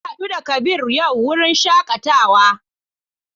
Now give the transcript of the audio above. Na hadu da Kabir a wurin shakatawa yau.